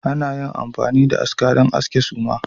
Ana iya amfani da aska don aske suma